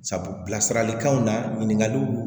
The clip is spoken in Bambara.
Sabu bilasiralikanw na ɲininkaliw